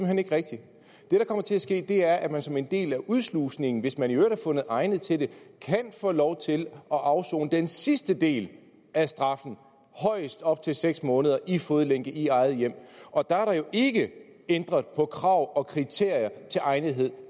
hen ikke rigtigt det der kommer til at ske er at man som en del af udslusningen hvis man i øvrigt er fundet egnet til det kan få lov til at afsone den sidste del af straffen højst op til seks måneder i fodlænke i eget hjem og der er der jo ikke ændret på krav og kriterier til egnethed